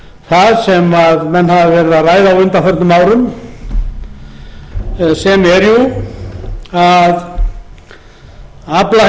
það sem menn hafa verið að ræða á undanförnum árum sem er jú að aflaheimildirnar á